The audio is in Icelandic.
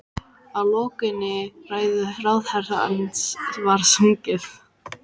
Að lokinni ræðu ráðherrans var sungið